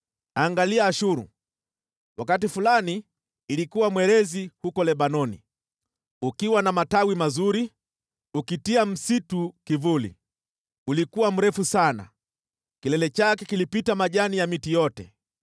Angalia Ashuru, wakati fulani ilikuwa mwerezi huko Lebanoni, ukiwa na matawi mazuri ukitia msitu kivuli; ulikuwa mrefu sana, kilele chake kilipita majani ya miti yote.